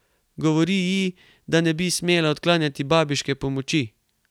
Govori ji, da ne bi smela odklanjati babiške pomoči.